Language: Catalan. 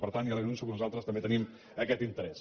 per tant ja li anuncio que nosaltres també tenim aquest interès